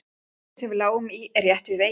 Lautin sem við lágum í er rétt við veginn.